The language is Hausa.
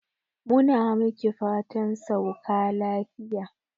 Mu na miki fatan sauka lafiya.